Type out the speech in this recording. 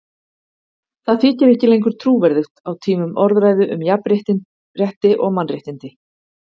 Það þykir ekki lengur trúverðugt á tímum orðræðu um jafnrétti og mannréttindi.